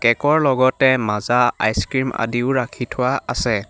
Cake ৰ লগতে মাজা আইছ ক্ৰীম আদিও ৰাখি থোৱা আছে।